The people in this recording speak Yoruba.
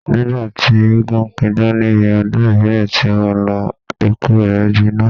Nígbà tí eégún ń pidán níbi ọdún ìbílẹ̀ tí mo lọ, ẹkú rẹ gbiná.